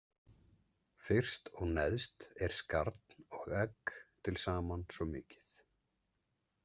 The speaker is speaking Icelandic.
Fyrst og neðst er skarn og egg til saman svo mikið.